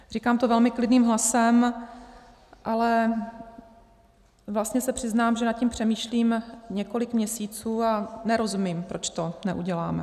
Říkám to velmi klidným hlasem, ale vlastně se přiznám, že nad tím přemýšlím několik měsíců a nerozumím, proč to neuděláme.